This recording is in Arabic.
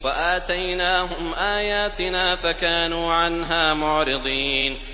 وَآتَيْنَاهُمْ آيَاتِنَا فَكَانُوا عَنْهَا مُعْرِضِينَ